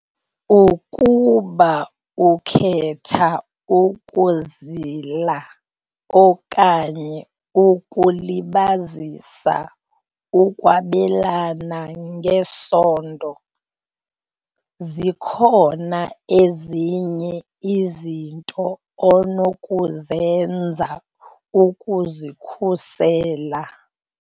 Ukuba ukhetha ukuzila okanye ukulibazisa ukwabelana ngesondo, zikhona ezinye izinto onokuzenza ukuzikhusela.